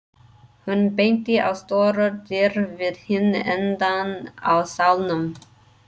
Hún benti á stórar dyr við hinn endann á salnum.